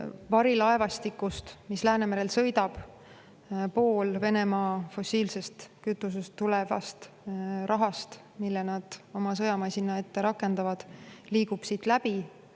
Varilaevastik, mis Läänemerel sõidab, pool Venemaa fossiilsest kütusest tulevast rahast, mille nad oma sõjamasina ette rakendavad, liigub siit läbi.